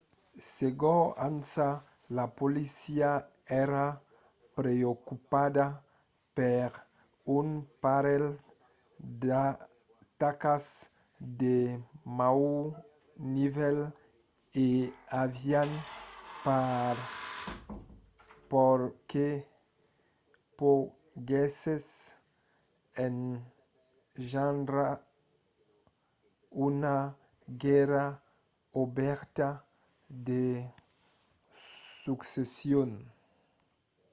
segon ansa la polícia èra preocupada per un parelh d'atacas de naut nivèl e avián paur que poguèssen engendrar una guèrra obèrta de succession